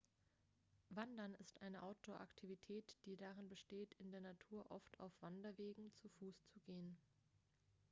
wandern ist eine outdoor-aktivität die darin besteht in der natur oft auf wanderwegen zu fuß zu gehen